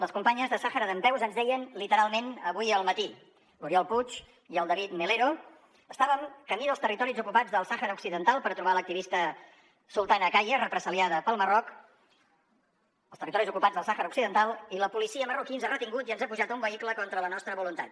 les companyes de sàhara dempeus ens deien literalment avui al matí l’oriol puig i el david melero estàvem camí dels territoris ocupats del sàhara occidental per trobar l’activista sultana khaya represaliada pel marroc i la policia marroquina ens ha retingut i ens ha pujat a un vehicle contra la nostra voluntat